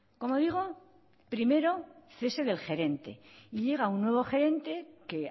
como digo primero cese del gerente llega un nuevo gerente que